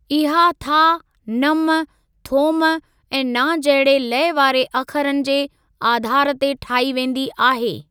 इहा था, नम, थोम ऐं ना जहिड़े लय वारे अखरनि जे आधार ते ठाही वेंदी आहे।